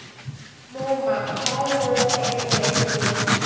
mo mà kàn ń wo ẹnu ẹ̀ ni o